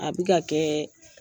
A bɛ ka kɛ